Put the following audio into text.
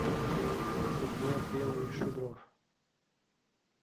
сергей апрелович шудров